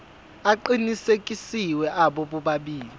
aqinisekisiwe abo bobabili